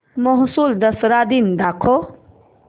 म्हैसूर दसरा दिन दाखव